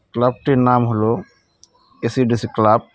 ক্লাবটির নাম হলো এ_সি_ডি_সি ক্লাব .